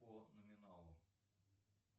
по номиналу